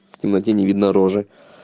в темноте не видно рожи